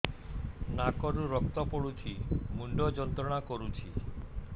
ନାକ ରୁ ରକ୍ତ ପଡ଼ୁଛି ମୁଣ୍ଡ ଯନ୍ତ୍ରଣା କରୁଛି